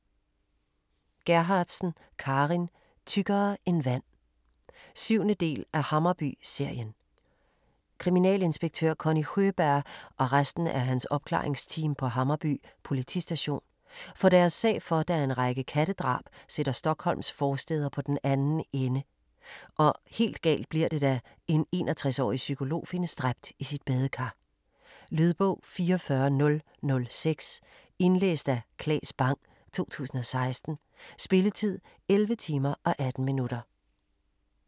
Gerhardsen, Carin: Tykkere end vand 7. del af Hammarby-serien. Kriminalinspektør Conny Sjøberg og resten af hans opklaringsteam på Hammarby politistation får deres sag for, da en række kattedrab sætter Stockholms forstæder på den anden ende, og helt galt bliver det da en 61-årig psykolog findes dræbt i sit badekar. Lydbog 44006 Indlæst af Claes Bang, 2016. Spilletid: 11 timer, 18 minutter.